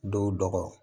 Dɔw dɔgɔ